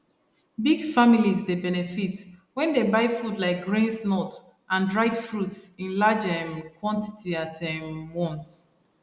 big families dey benefit when dem buy food like grains nuts and dried fruits in large um quantity at um once